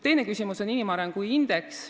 Teine küsimus oli inimarengu indeks.